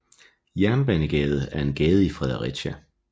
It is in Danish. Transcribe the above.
Jernbanegade er en gade i Fredericia